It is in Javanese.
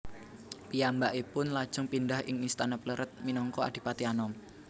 Piyambakipun lajeng pindhah ing istana Plered minangka Adipati Anom